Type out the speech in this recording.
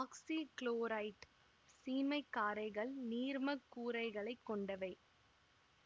oxychloride சீமை காரைகள் நீர்மக் கூறுகளைக் கொண்டவை